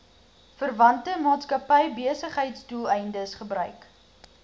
verwante maatskappybesigheidsdoeleindes gebruik